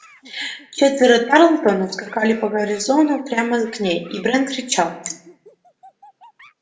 четверо тарлтонов скакали по газону прямо к ней и брент кричал